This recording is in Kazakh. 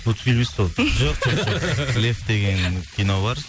мульфильм емес па ол лев деген кино бар